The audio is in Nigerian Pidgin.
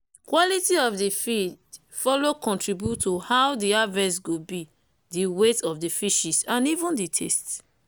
quality of the feed follow contribute to how the harvest go be the wieght of the fishes and even the taste